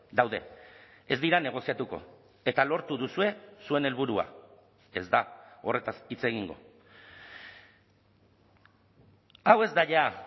daude ez dira negoziatuko eta lortu duzue zuen helburua ez da horretaz hitz egingo hau ez da ja